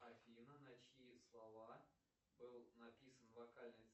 афина на чьи слова был написан вокальный